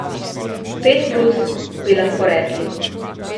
Pet plus, bi lahko rekli.